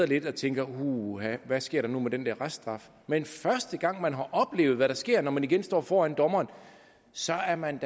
lidt og tænker uha hvad sker der nu med den der reststraf men første gang man har oplevet hvad der sker når man igen står foran dommeren så er man